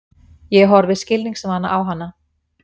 Ég horfi skilningsvana á hana.